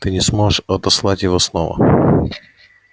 ты не сможешь отослать его снова